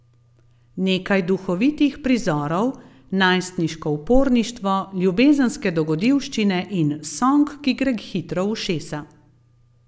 Nekaj duhovitih prizorov, najstniško uporništvo, ljubezenske dogodivščine in song, ki gre hitro v ušesa.